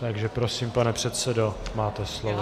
Takže prosím, pane předsedo, máte slovo.